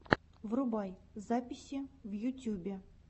врубай записи в ютюбе